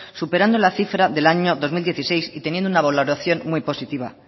superando la cifra del año dos mil dieciséis y teniendo una valoración muy positiva